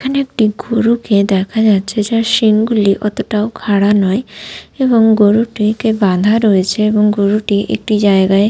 এখানে একটি গরু কে দেখা যাচ্ছে যার শিঙ গুলি অতটাও খাড়া নয় এবং গরুরটিকে বাধা রয়েছে এবং গরুটি একটি জায়গায়--